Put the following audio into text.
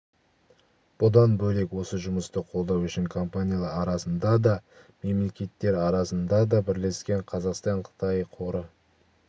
бұдан бөлек осы жұмысты қолдау үшін компаниялар арасында да мемлекеттер арасында да бірлескен қазақстан-қытай қоры